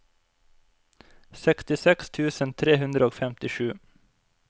sekstiseks tusen tre hundre og femtisju